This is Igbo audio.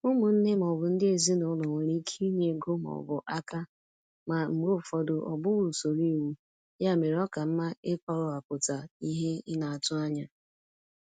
Ụmụnne ma ọ bụ ndị ezinụlọ nwere ike inye ego ma ọ bụ aka, ma mgbe ụfọdụ ọ bụghị usoro iwu, ya mere ọ ka mma ịkọwapụta ihe ị na-atụ anya.